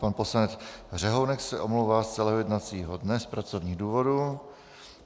Pan poslanec Řehounek se omlouvá z celého jednacího dne z pracovních důvodů.